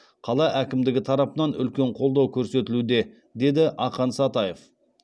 қала әкімдігі тарапынан үлкен қолдау көрсетілуде деді ақан сатаев